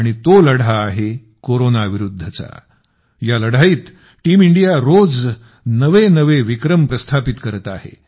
आणि तो लढा आहे कोरोनाविरुद्धचा या लढाईत टीम इंडिया रोज नवनवे विक्रम रचत आहे